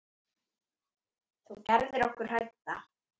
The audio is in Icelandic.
Þú gerðir okkur hrædda.